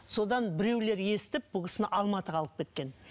содан біреулер естіп бұл кісіні алматыға алып кеткен